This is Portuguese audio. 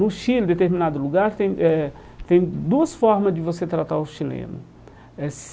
No Chile, em determinado lugar, tem eh tem duas formas de você tratar o chileno eh.